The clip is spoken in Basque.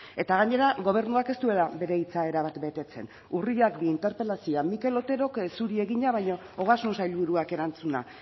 eta gainera gobernuak ez duela bere hitza erabat betetzen urriak bi interpelazioa mikel oterok zuri egina baina ogasun sailburuak erantzuna